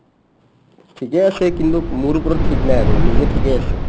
ঠিকে আছে, কিন্তু মোৰ ওপৰত ঠিক নাই আৰু নিজে ঠিকে আছে ।